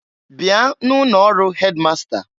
Bịa na ụnọ ọrụ headmaster!